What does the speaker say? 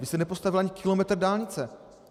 Vy jste nepostavil ani kilometr dálnice!